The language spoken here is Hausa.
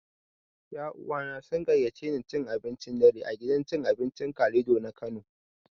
Ƴa uwana sun gayyaci ne cin abincin dare a gidan cin abincin Kalido na Kano.